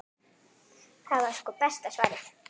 Það var sko besta svarið.